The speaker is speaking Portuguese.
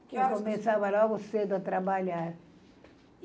Que horas. Eu começava logo cedo a trabalhar.